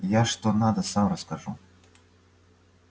я что надо сам расскажу